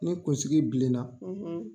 Ni kunsigi bilen na.